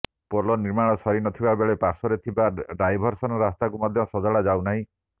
ପୋଲ ନିର୍ମାଣ ସରି ନ ଥିବାବେଳେ ପାଶ୍ୱର୍ରେ ଥିବା ଡାଇଭରସନ ରାସ୍ତାକୁ ମଧ୍ୟ ସଜଡା ଯାଉନାହିଁ